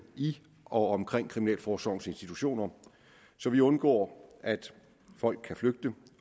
i og omkring kriminalforsorgens institutioner så vi undgår at folk kan flygte og